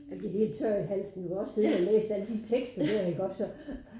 Jeg bliver helt tør i halsen vi har også siddet og læst alle de tekster dér iggå så